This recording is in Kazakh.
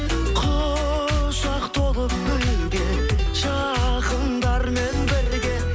құшақ толып гүлге жақындармен бірге